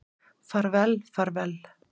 Far vel, far vel.